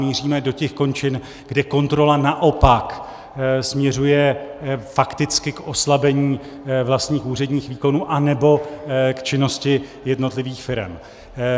Míříme do těch končin, kde kontrola naopak směřuje fakticky k oslabení vlastních úředních výkonů anebo k činnosti jednotlivých firem.